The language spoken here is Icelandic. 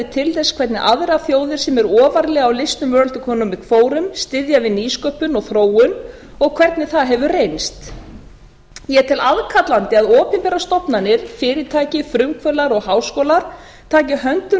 til þess hvernig aðrar þjóðir sem eru ofarlega á listum world economic forum styðja við nýsköpun og þróun og hvernig það hefur reynst ég tel aðkallandi að opinberar stofnanir fyrirtæki frumkvöðlar og háskólar taki höndum